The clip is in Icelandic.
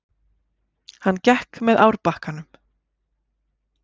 Hann gekk með árbakkanum.